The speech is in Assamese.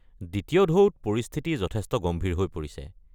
দ্বিতীয় ঢৌত পৰিস্থিতি যথেষ্ট গম্ভীৰ হৈ পৰিছে।